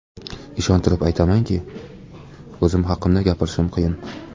Ishontirib aytamanki, o‘zim haqida gapirishim qiyin.